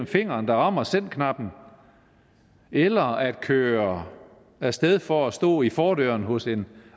fingeren der rammer sendknappen eller den der kører af sted for at stå i fordøren hos en